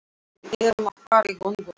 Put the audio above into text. Við erum að fara í gönguferð.